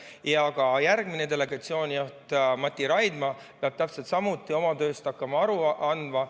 Ja ka järgmine delegatsioonijuht Mati Raidma peab täpselt samuti hakkama oma tööst aru andma.